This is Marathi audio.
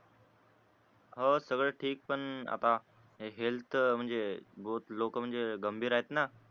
हो सगळं ठीक पण आता हे हेल्थ म्हणजे लोक म्हणजे गंभीर आहेत ना